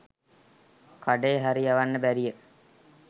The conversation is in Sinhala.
කඩේ හරි යවන්න බැරිය